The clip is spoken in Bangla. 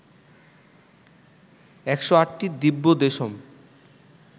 ১০৮টি দিব্য দেশম